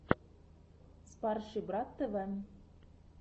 спарший брат тв